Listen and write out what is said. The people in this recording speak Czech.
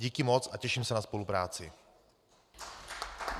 Díky moc a těším se na spolupráci.